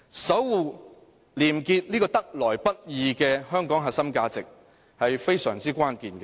守護"廉潔"這個得來不易的香港核心價值，是非常關鍵的。